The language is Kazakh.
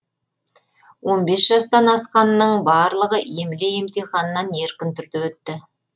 он бес жастан асқанның барлығы емле емтиханынан еркін түрде өтті